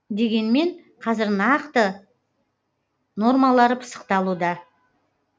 дегенмен қазір оның нақты нормалары пысықталуда